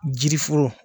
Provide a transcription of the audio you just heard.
Jiri foro